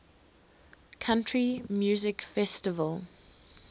country music festival